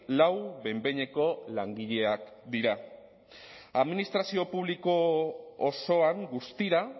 lau behin behineko langileak dira administrazio publiko osoan guztira